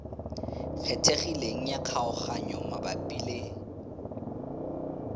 kgethegileng ya kgaoganyo mabapi le